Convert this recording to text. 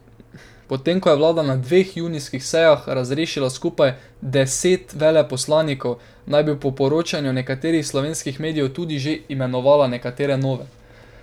Potem ko je vlada na dveh junijskih sejah razrešila skupaj deset veleposlanikov, naj bi po poročanju nekaterih slovenskih medijev tudi že imenovala nekatere nove.